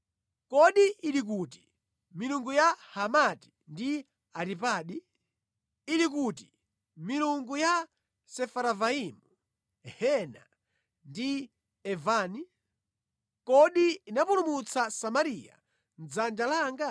Kodi ili kuti milungu ya Hamati ndi Aripadi? Ili kuti milungu ya Sefaravaimu, Hena ndi Ivani? Kodi inapulumutsa Samariya mʼdzanja langa?